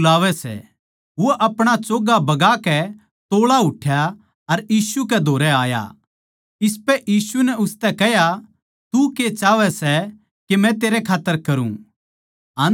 फेर यीशु नै ठहरकै कह्या उस ताहीं बुलाओ अर आदमियाँ नै उस आंधे ताहीं बुलाकै उसतै कह्या धीरज धर उठ यीशु तन्नै बुलावै सै